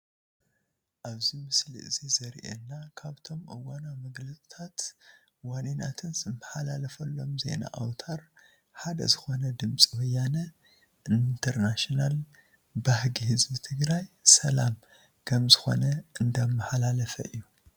ኣብዚ ምስሊ እዚ ዘሪኤና ካብቶም እዋናዊ መግለፂታት ዋኒናትን ዝመሓላለፈሎም ዜና ኣውትር ሓደ ዝኾነ ድምፂ ወያነ እንተርናሽናል ባህጊ ህዝቢ ትግራይ "ሰላም" ከምዝኾነ እንዳማሓላለፈ እዩ፡፡